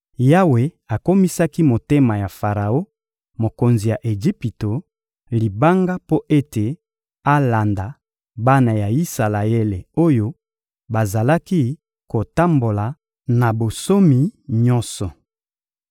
Yawe akomisaki motema ya Faraon, mokonzi ya Ejipito, libanga mpo ete alanda bana ya Isalaele oyo bazalaki kotambola na bonsomi nyonso.